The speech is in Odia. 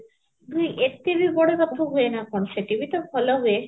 ନାହିଁ ଏତେବି ବଡ଼ ରଥ ହୁଏ ନ କଣ, ସେଠିବି ତ ଭଲ ହୁଏ